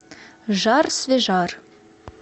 жар свежар